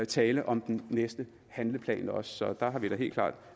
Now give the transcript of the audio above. tale om den næste handleplan også så der har vi da helt klart